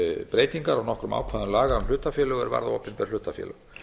breytingar á nokkrum ákvæðum laga um hlutafélög er varða opinber hlutafélög